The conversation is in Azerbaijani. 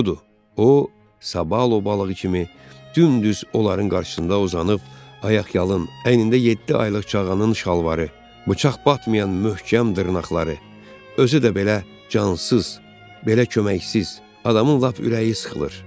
Budur, o Sabalo balığı kimi dümdüz onların qarşısında uzanıb ayaqyalın, əynində yeddi aylıq çağanın şalvarı, bıçaq batmayan möhkəm dırnaqları, özü də belə cansız, belə köməksiz, adamın lap ürəyi sıxılır.